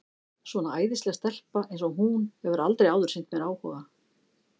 Svona æðisleg stelpa eins og hún hefur aldrei áður sýnt mér áhuga.